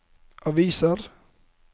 aviser